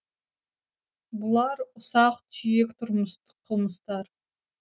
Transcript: бұлар ұсақ түйек тұрмыстық қылмыстар